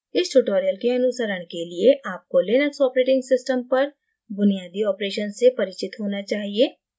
इस tutorial के अनुसरण के लिए आपको linux operating system पर बुनियादी operations से परिचित होना चाहिए